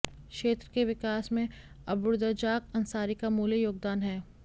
क्षेत्र के विकास में अब्दुर्रज्जाक अंसारी का अमूल्य योगदान है